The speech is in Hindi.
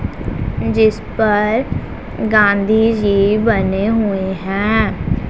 जिस पर गांधी जी बने हुए हैं।